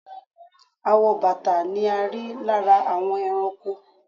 Awọ bàtà ni a rí lára àwọn ẹranko.